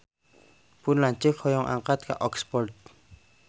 Pun lanceuk hoyong angkat ka Oxford